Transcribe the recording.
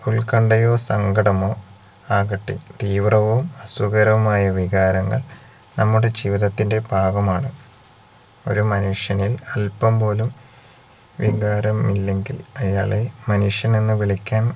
ഉൽക്കണ്ടയോ സങ്കടമോ ആകട്ടെ തീവ്രവും സുഖകരവുമായ വികാരങ്ങൾ നമ്മുടെ ജീവിതത്തിന്റെ ഭാഗമാണ് ഒരു മനുഷ്യനിൽ അൽപ്പം പോലും വികാരം ഇല്ലെങ്കിൽ അയാളെ മനുഷ്യൻ എന്ന് വിളിക്കാൻ